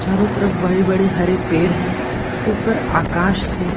चारों तरफ बड़े-बड़े हरे पेड़ है ऊपर आकाश है।